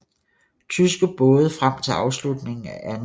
Tyske både frem til afslutningen af 2